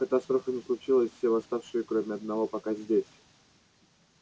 катастрофы не случилось все восставшие кроме одного пока здесь